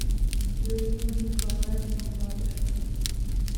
людмила николаевна гладышева